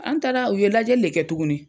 An taara u ye lajɛ de kɛ tuguni